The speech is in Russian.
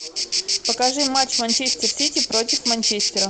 покажи матч манчестер сити против манчестера